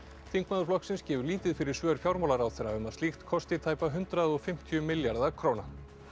þingmaður flokksins gefur lítið fyrir svör fjármálaráðherra um að slíkt kosti tæpa hundrað og fimmtíu milljarða króna